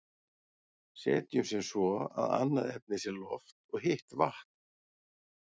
setjum sem svo að annað efnið sé loft og hitt vatn